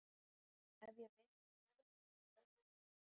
Ef ég vinn ræð ég því hvað verður um þig.